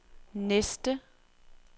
næste